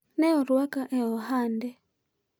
ne orwaka e ohande